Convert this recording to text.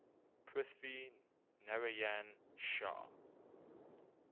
prithvi narayan shah